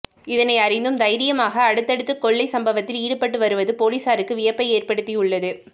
இதனை அறிந்தும் தைரியமாக அடுத்தடுத்து கொள்ளைச் சம்பவத்தில் ஈடுபட்டுவருவது பொலிசாருக்கு வியப்பை ஏற்படுத்தியுள்ளது